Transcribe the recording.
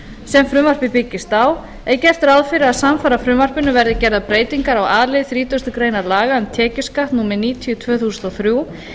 sem frumvarpið byggist á er gert ráð fyrir að samfara frumvarpinu verði gerðar breytingar á a lið þrítugustu greinar laga um tekjuskatt númer níutíu tvö þúsund og þrjú